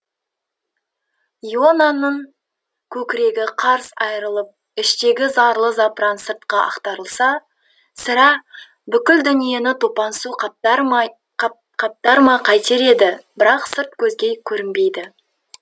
ионаның көкірегі қарс айырылып іштегі зарлы запыран сыртқа ақтарылса сірә бүкіл дүниені топан су қаптар ма қайтер еді бірақ сырт көзге көрінбейді